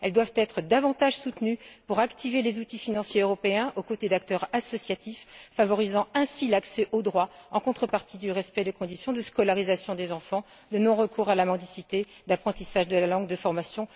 Elles doivent être davantage soutenues pour activer les outils financiers européens aux côtés d'acteurs associatifs favorisant ainsi l'accès au droit en contrepartie du respect des conditions de scolarisation des enfants, de non recours à la mendicité, d'apprentissage de la langue et de formation.